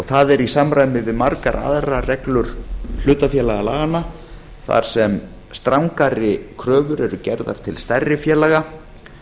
það er í samræmi við margar aðrar reglur hlutafélagalaganna þar sem strangari kröfur eru gerðar til stærri félaga